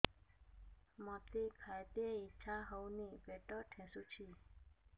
ମୋତେ ଖାଇତେ ଇଚ୍ଛା ହଉନି ପେଟ ଠେସୁଛି